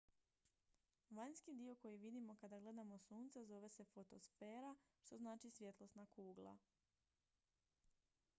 "vanjski dio koji vidimo kada gledamo sunce zove se fotosfera što znači "svjetlosna kugla"".